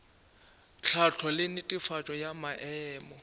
tlhahlo le netefatšo ya maemo